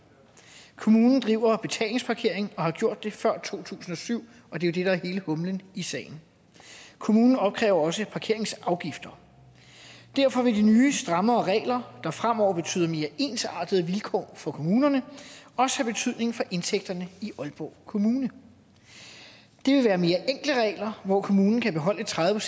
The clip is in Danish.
kommunen driver betalingsparkering og har gjort det før to tusind og syv og det er det er hele humlen i sagen kommunen opkræver også parkeringsafgifter derfor vil de nye strammere regler der fremover betyder mere ensartede vilkår for kommunerne også have betydning for indtægterne i aalborg kommune det vil være mere enkle regler hvor kommunen kan beholde tredive